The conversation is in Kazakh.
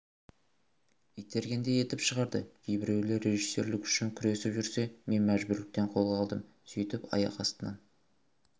итергендей етіп шығарды кейбіреулер режиссерлік үшін күресіп жүрсе мен мәжбүрліктен қолға алдым сөйтіп аяқ астынан